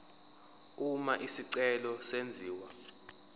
uma isicelo senziwa